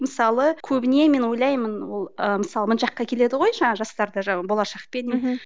мысалы көбіне мен ойлаймын ол ы мысалы мына жаққа келеді ғой жаңағы жастарды жаңағы болашақпен мхм